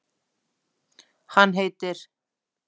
Hann heitir